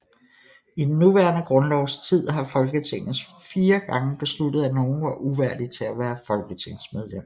I den nuværende grundlovs tid har Folketinget fire gange besluttet at nogen var uværdig til at være folketingsmedlem